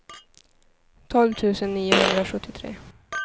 tolv tusen niohundrasjuttiotre